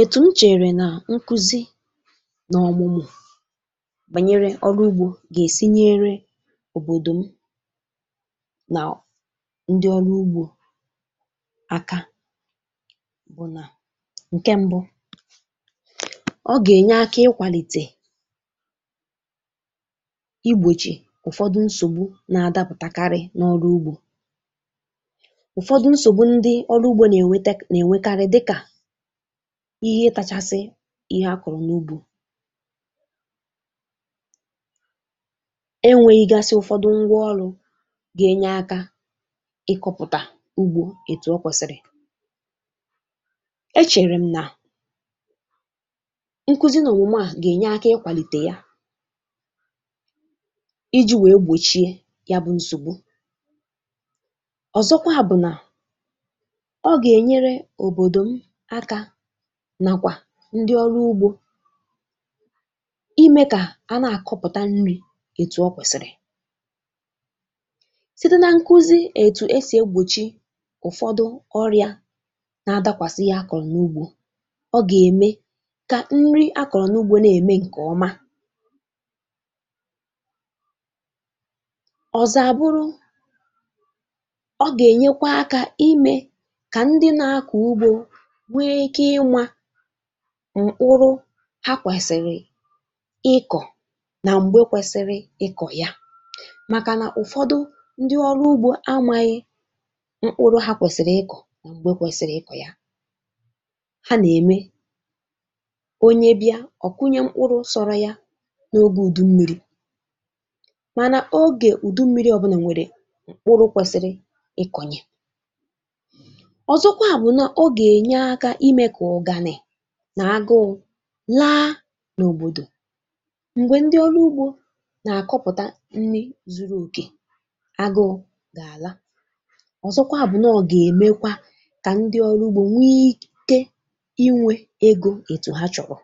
Etù n chèrè nà nkuzi na ọ̀mụ̀mụ̀ bànyere ọrụ ugbȯ gà-èsi nyere òbòdò m nà ndị ọrụ ugbȯ aka bụ̀ nà, ǹke ṁbụ, ọ gà-ènye aka ịkwàlìtè igbòchì ụ̀fọdụ nsògbu na-adapụ̀takarị̀ n’ọrụ ugbo. Ụ̀fọdụ nsògbu ndị ọrụ ugbȯ nà-ènwetak nà-ènwetarị dịkà, ihe ịtȧchàsị ihe akụ̀rụ̀ n’ugbo, e nweghị ga sị̀ ụ̀fọdụ ngwa ọrụ̇ ga-enye aka ịkọ̇pụ̀tà ugbo ètù ọ kwẹ̀sị̀rị̀. E chèrè m nà nkuzi nà òmùmè a, gà-ènye aka ikwàlìtè ya iji̇ wee gbòchie ya bụ̀ nsògbu. Ọ̀zọkwa bụ̀ nà ọ gà-ènyere òbòdò m aka, nakwa ndị ọrụ ugbó, imė kà a na-àkọpụ̀ta nri̇ ètù ọ kwẹ̀sị̀rị̀.site na nkụzi ètù e sì egbòchi ụ̀fọdụ ọrịȧ na-adakwàsị ihe akọ̀rọ̀ n’ugbȯ, ọ gà-ème kà nri akọ̀rọ̀ n’ugbȯ na-ème ǹkè ọma. Ọ̀zọ àbụrụ, ọ gà-ènyekwa akȧ imė kà ndị na-akọ̀ ugbȯ nwe ike ima m̀kpụrụ ha kwẹ̀sị̀rị̀ ịkọ̀ na m̀gbe kwẹsịrị ịkọ̀ ya, màkà nà ụ̀fọdụ ndị ọrụ ugbo amȧghị̇ mkpụrụ ha kwẹ̀sị̀rị̀ ịkọ̀ m̀gbe kwẹsị̀rị̀ ịkọ̀ ya. Ha nà-ème onye bịa ọ̀ kụnye mkpụrụ sọrọ ya n’oge ùdu mmiri̇, mànà ogè ùdu mmiri̇ ọ̀bụnà nwèrè mkpụrụ̇ kwẹsị̇rị̇ ịkọ̀nye. Ọ̀zọkwa bụ̀ nà ọ gà-ènye akȧ ime ka uganị, na agụụ laa n’òbòdò, m̀gbè ndị ọrụ ugbȯ nà-àkọpụ̀ta nri zuru òkè agụ̇ gà-àla. Ọ̀zọkwa bụ̀ nà ọ̀ gà-èmekwa kà ndị ọrụ ugbȯ nwee ike inwė egȯ ètù ha chọ̀rọ̀,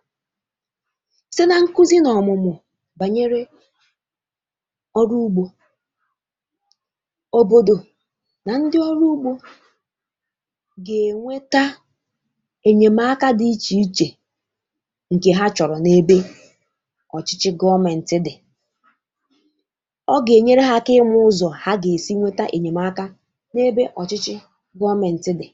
site na-nkụzi nà ọ̀mụ̀mụ̀ bànyere ọrụ ugbȯ. Obodo, na ndị ọrụ ugbo, nà-ènweta enyemaka dị iche iche, ǹkè ha chọ̀rọ̀ n’ebe ọ̀chị̇chị̇ gọọmėntị dị̀, ọ gà-ènyere ha aka ịma ụzọ̀ ha gà-èsi nweta ènyèmaka n’ebe ọ̀chị̇chị̇ gọọmėntị dị̀.